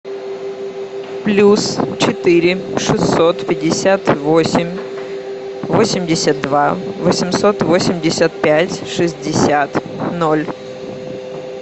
плюс четыре шестьсот пятьдесят восемь восемьдесят два восемьсот восемьдесят пять шестьдесят ноль